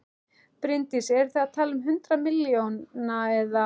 Bryndís: Eru þið að tala um hundruð milljóna eða?